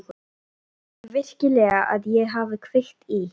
Heldurðu virkilega að ég hafi kveikt í?